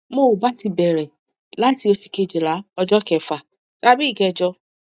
mo ba ti bere lati osu kejila ojo kefa tabi ikejo